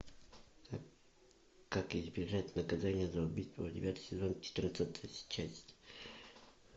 как избежать наказания за убийство девятый сезон четырнадцатая часть